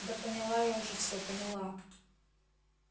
да поняла я уже все поняла